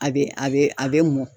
A bɛ a bɛ a bɛ mɔ.